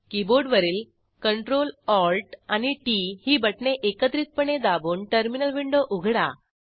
कीबोर्डवरील CtrlAltT ही बटणे एकत्रितपणे दाबून टर्मिनल विंडो उघडा